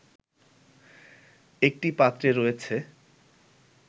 একটি পাত্রে রয়েছে